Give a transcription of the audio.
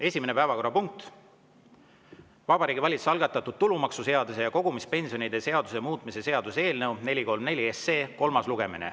Esimene päevakorrapunkt: Vabariigi Valitsuse algatatud tulumaksuseaduse ja kogumispensionide seaduse muutmise seaduse eelnõu 434 kolmas lugemine.